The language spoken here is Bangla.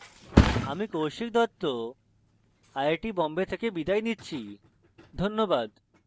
আমি Kaushik Dutta I I T Bombay থেকে বিদায় নিচ্ছি ধন্যবাদ